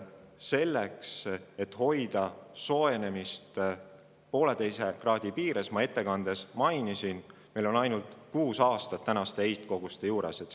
Selleks, et hoida soojenemist 1,5 kraadi piires, on meil tänaste heitkoguste juures, nagu ma ettekandes mainisin, aega ainult kuus aastat.